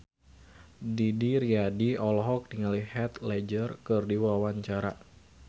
Didi Riyadi olohok ningali Heath Ledger keur diwawancara